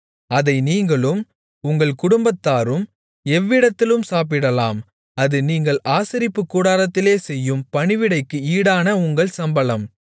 அதை நீங்களும் உங்கள் குடும்பத்தாரும் எவ்விடத்திலும் சாப்பிடலாம் அது நீங்கள் ஆசரிப்புக் கூடாரத்திலே செய்யும் பணிவிடைக்கு ஈடான உங்கள் சம்பளம்